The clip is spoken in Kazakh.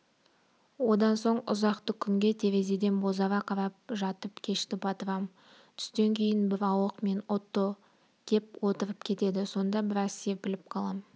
одан соң ұзақты күнге терезеден бозара қарап жатып кешті батырам түстен кейін бір ауық мен отто кеп отырып кетеді сонда біраз серпіліп қалам